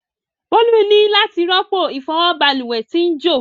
Bolu ni lati ropo ifọwọ balùwẹ ti n jo.